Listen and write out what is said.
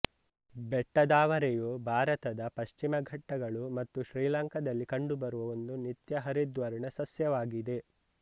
ಬೆಟ್ಟದಾವರೆಯು ಭಾರತದ ಪಶ್ಚಿಮ ಘಟ್ಟಗಳು ಮತ್ತು ಶ್ರೀಲಂಕಾದಲ್ಲಿ ಕಂಡುಬರುವ ಒಂದು ನಿತ್ಯಹರಿದ್ವರ್ಣ ಸಸ್ಯವಾಗಿದೆ